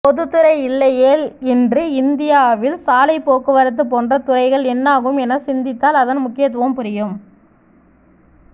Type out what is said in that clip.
பொதுத்துறை இல்லையேல் இன்று இந்தியாவில் சாலைப்போக்குவரத்து போன்ற துறைகள் என்னாகும் என சிந்தித்தால் அதன் முக்கியத்துவம் புரியும்